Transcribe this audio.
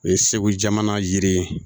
O ye segu jamana ye